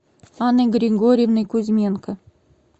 анной григорьевной кузьменко